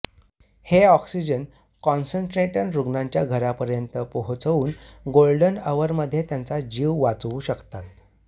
हे oxygen concentrator रुग्णाच्या घरापर्यंत पोहोचवून गोल्डन अवरमध्ये त्याचा जीव वाचवू शकतात